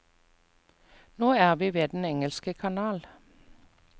Nå er vi ved den engelske kanal.